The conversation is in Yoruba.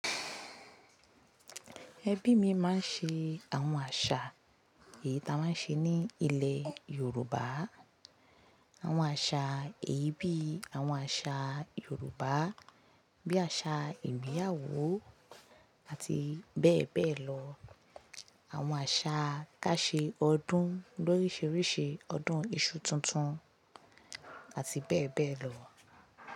Ẹbí mi máa ń ṣe àwọn àṣà èyí ta máa ń ṣe ní ilẹ̀ Yorùbá. Àwọn àṣà èyí bí àwọn àṣà Yorùbá, bí àṣà ìgbéyàwó àti bẹ́ẹ̀ bẹ́ẹ̀ lọ. Àwọn àṣà ká ṣe ọdún lóríṣiríṣi ọdún iṣu tuntun àti bẹ́ẹ̀ bẹ́ẹ̀ lọ.